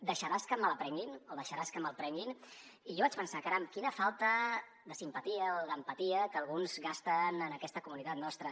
deixaràs que me la prenguin o deixaràs que me’l prenguin i jo vaig pensar caram quina falta de simpatia o d’empatia que alguns gasten en aquesta comunitat nostra